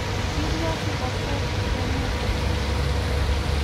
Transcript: Chil yo siro cheng'et neng'ung'.